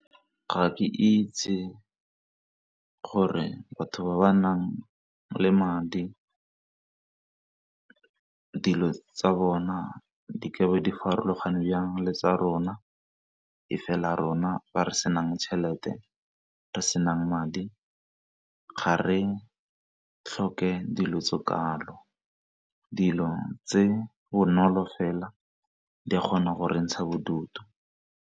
Ga ke itse gore batho ba ba nang le madi dilo tsa bona di ke be di farologane jang le tsa rona, e fela rona ba re senang tjhelete, re senang madi ga re tlhoke dilo tse kalo dilo tse bonolo fela di a kgona go re ntsha bodutu.